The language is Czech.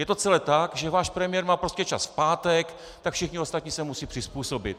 Je to celé tak, že váš premiér má prostě čas v pátek, tak všichni ostatní se musí přizpůsobit.